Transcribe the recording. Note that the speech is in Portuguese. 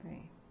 Tem.